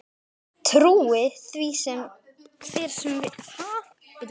Trúi því hver sem vill.